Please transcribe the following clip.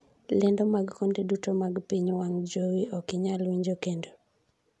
lendo mag konde duto mag piny wang' jowi ok inyal winjo kendo